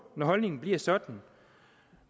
når holdningen bliver sådan